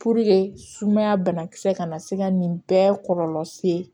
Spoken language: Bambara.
sumaya banakisɛ kana se ka nin bɛɛ kɔlɔlɔ se